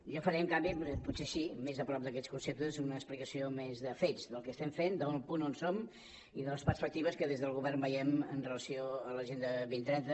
jo faré en canvi potser sí més a prop d’aquests conceptes una explicació més de fets del que estem fent del punt on som i de les perspectives que des del govern veiem amb relació a l’agenda dos mil trenta